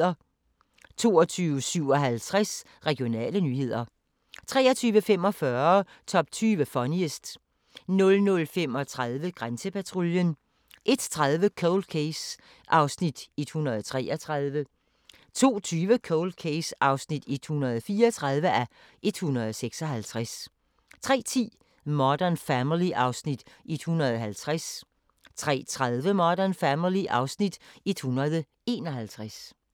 22:57: Regionale nyheder 23:45: Top 20 Funniest 00:35: Grænsepatruljen 01:30: Cold Case (133:156) 02:20: Cold Case (134:156) 03:10: Modern Family (Afs. 150) 03:30: Modern Family (Afs. 151)